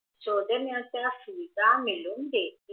सौंजण्याच्या सुविधा मिळून देती